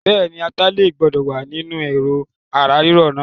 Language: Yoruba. Bẹ́ẹ̀ni, ata ilẹ̀ gbọ́dọ̀ wá nínú Ẹ̀rọ̀ ara ríro náà.